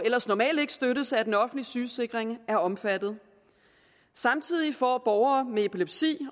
ellers normalt ikke støttes af den offentlige sygesikring er omfattet samtidig får borgere med epilepsi